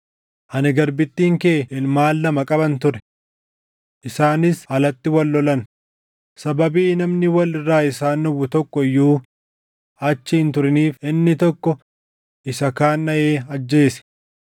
Ani garbittiin kee ilmaan lama qaban ture. Isaanis alatti wal lolan; sababii namni wal irraa isaan dhowwu tokko iyyuu achi hin turiniif inni tokko isa kaan dhaʼee ajjeese.